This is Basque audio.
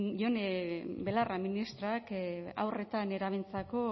ione belarra ministrak haur eta nerabeentzako